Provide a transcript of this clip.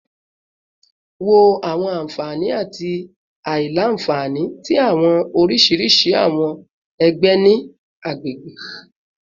Wo awọn anfani ati aila-nfani ti awọn oriṣiriṣi awọn ẹgbẹ ni agbegbe